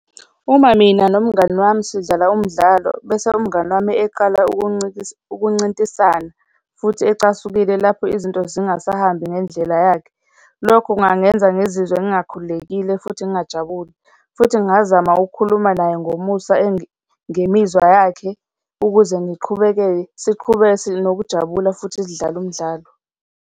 Uma mina nomngani wami sidlala umdlalo bese umngani wami eqala ukuncintisana futhi ecasukile lapho izinto zingasahambi ngendlela yakhe. Lokho kungangenza ngizizwe ngingakhululekile futhi ngingajabule, futhi ngingazama ukukhuluma naye ngomusa ngemizwa yakhe ukuze ngiqhubeke-ke, siqhube sinokujabula futhi sidlale umdlalo.